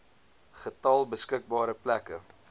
getal beskikbare plekke